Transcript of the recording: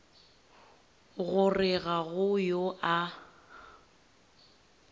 gore ga go yo a